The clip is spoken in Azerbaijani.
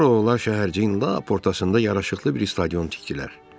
Sonra oğlanlar şəhərciyin lap ortasında yaraşıqlı bir stadion tikdilər.